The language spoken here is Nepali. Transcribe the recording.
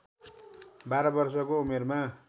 १२ वर्षको उमेरमा